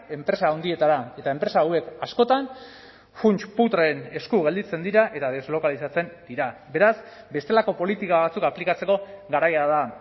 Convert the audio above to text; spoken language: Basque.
enpresa handietara eta enpresa hauek askotan funts putreen esku gelditzen dira eta deslokalizatzen dira beraz bestelako politika batzuk aplikatzeko garaia da